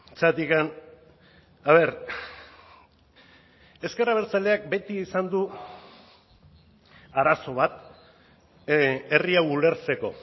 zergatik a ver ezker abertzaleak beti izan du arazo bat herri hau ulertzeko